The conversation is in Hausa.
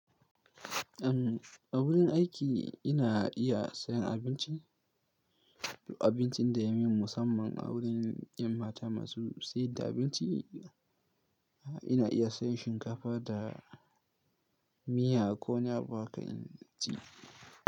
Uhm, a wurin aiki ina iya sayan abinci, abincin da ya min musamman a wurin 'yan mata masu sayar da abinci. Ina iya sayan shinkafa da miya ko wani abu haka in ci.